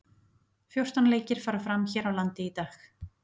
Fjórtán leikir fara fram hér á landi í dag.